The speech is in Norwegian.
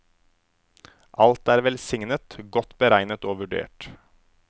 Alt er velsignet, godt beregnet og vurdert.